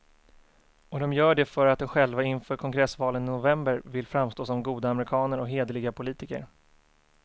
Och de gör det för att de själva inför kongressvalen i november vill framstå som goda amerikaner och hederliga politiker.